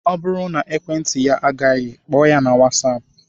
Ọ bụrụ na ekwentị ya agaghị, kpọọ ya na whatsapp